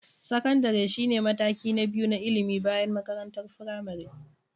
Sakandare shine mataki na biyu na ilimi bayan makarantar firamare.